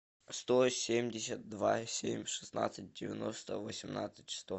сто семьдесят два семь шестнадцать девяносто восемнадцать сто